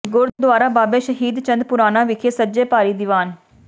ਗੁਰਦੁਆਰਾ ਬਾਬੇ ਸ਼ਹੀਦਾਂ ਚੰਦ ਪੁਰਾਣਾ ਵਿਖੇ ਸਜੇ ਭਾਰੀ ਦੀਵਾਨ